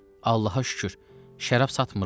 Allaha şükür, şərab satmırıq.